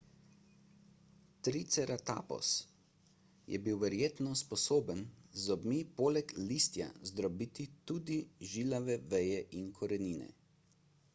triceratops je bil verjetno sposoben z zobmi poleg listja zdrobiti tudi žilave veje in korenine